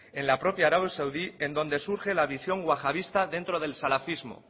la propia arabia saudí en donde surge la visión guajadista dentro del salafismo